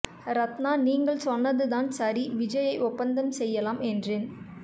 ரத்னா நீங்கள் சொன்னது தான் சரி விஜய்யை ஒப்பந்தம் செய்யலாம் என்றேன்